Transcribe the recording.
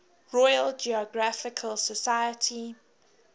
royal geographical society